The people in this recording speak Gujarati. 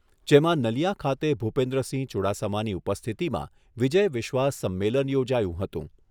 જેમાં નલીયા ખાતે ભૂપેન્દ્ર સિંહ ચૂડાસમાની ઉપસ્થિતિમાં વિજય વિશ્વાસ સંમેલન યોજાયો હતો.